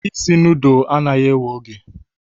isi nudulu anaghị ewe oge